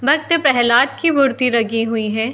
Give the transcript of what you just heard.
भक्त प्रहलाद की मूर्ति लगी हुई है।